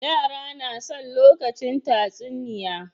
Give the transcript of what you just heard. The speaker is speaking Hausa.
Yara nason lokacin tatsuniya